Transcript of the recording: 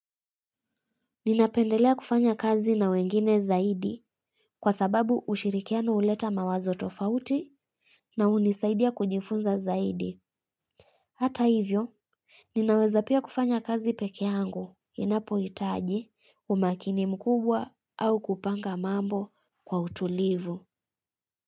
Ninapendelea kufanya kazi na wengine zaidi kwa sababu ushirikiano uleta mawazo tofauti na unisaidia kujifunza zaidi. Hata hivyo, ninaweza pia kufanya kazi pekeangu inapo itaji umakini mkubwa au kupanga mambo kwa utulivu.